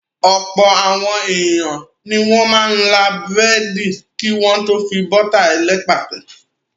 Ọ̀pọ̀ àwọn ènìyàn ni wọ́n máa ń là búrẹ́dì kí wọ́n tó fi bọ́tà ẹlẹ́pà tẹ.